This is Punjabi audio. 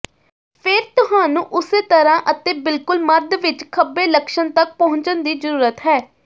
ਫਿਰ ਤੁਹਾਨੂੰ ਉਸੇ ਤਰ੍ਹਾ ਅਤੇ ਬਿਲਕੁਲ ਮੱਧ ਵਿਚ ਖੱਬੇ ਲੱਛਣ ਤਕ ਪਹੁੰਚਣ ਦੀ ਜ਼ਰੂਰਤ ਹੈ